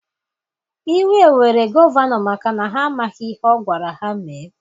Iwe were gọvanọ maka na ha emeghị ihe ọ gwara ha mee.